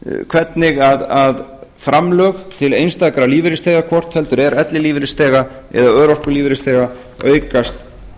hvernig framlög til einstakra lífeyrisþega hvort heldur er ellilífeyrisþega eða örorkulífeyrisþega aukast